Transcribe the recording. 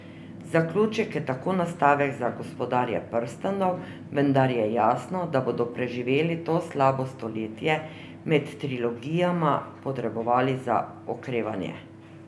Zaključek je tako nastavek za Gospodarja prstanov, vendar je jasno, da bodo preživeli to slabo stoletje med trilogijama potrebovali za okrevanje.